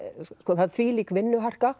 það er þvílík